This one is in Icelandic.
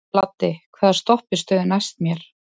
Laddi, hvaða stoppistöð er næst mér?